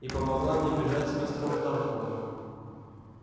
и помогла мне бежать с мистером тарлтоном